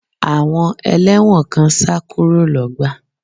Àwọn ẹlẹ́wọ̀n kan sá kúrò lọ́gbà